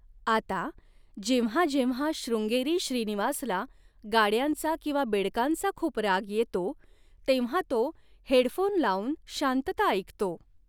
आता, जेव्हा जेव्हा शृंगेरी श्रीनिवासला गाड्यांचा किंवा बेडकांचा खूप राग येतो तेव्हा तो हेडफोन लावून शांतता ऐकतो.